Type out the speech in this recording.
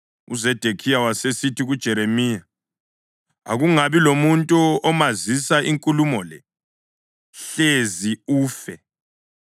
UZedekhiya wasesithi kuJeremiya, “Akungabi lomuntu omazisa inkulumo le, hlezi ufe.